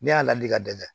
Ne y'a ladi ka dɛsɛ